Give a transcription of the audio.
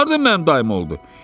O hardan mənim dayım oldu?